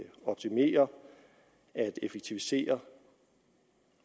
optimere at effektivisere